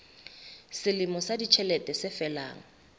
selemo sa ditjhelete se felang